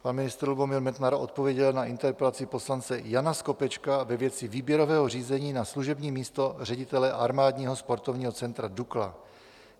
Pan ministr Lubomír Metnar odpověděl na interpelaci poslance Jana Skopečka ve věci výběrového řízení na služební místo ředitele Armádního sportovního centra DUKLA.